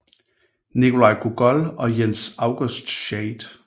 Nikolaj Gogol og Jens August Schade